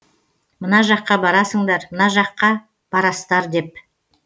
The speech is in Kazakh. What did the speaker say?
мына жаққа барасыңдар мына жаққа барастар деп